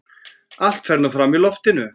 Allt fer nú fram í loftinu.